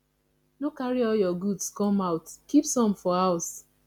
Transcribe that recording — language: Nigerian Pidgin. no carry all your goods come out keep some for house